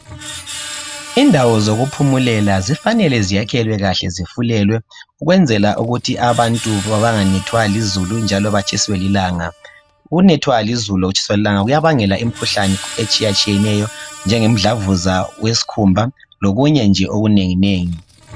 Indawo zokuphumulela kufanele zakhiwe kahle zifulelwe ukwenzela ukuthi abantu banganethwa lizulu njalo batshiswe lilanga. Ukunethwa lizulu lokutshiswa lilanga kuyabangela imikhuhlane etshiya tshiyeneyo njenge mdlavuza wesikhumba lokunye nje okunengi nengi.